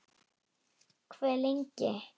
Hve lengi?